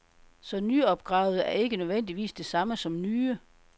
Så nyopgravede er ikke nødvendigvis det samme som nye.